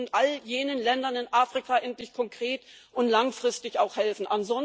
Wir müssen all jenen Ländern in Afrika endlich konkret und auch langfristig helfen